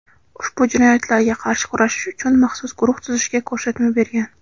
ushbu jinoyatlarga qarshi kurashish uchun maxsus guruh tuzishga ko‘rsatma bergan.